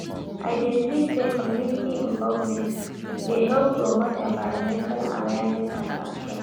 I dey believe say community involvement dey help promote envirnmental awareness and actions.